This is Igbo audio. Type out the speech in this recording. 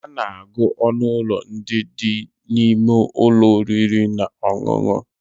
A na-agụ ọnụ ụlọ ndị dị n'ime ụlọ oriri na ọṅụṅụ